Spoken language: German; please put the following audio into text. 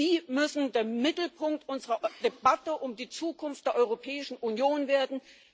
Sie müssen der Mittelpunkt unserer Debatte um die Zukunft der Europäischen Union werden.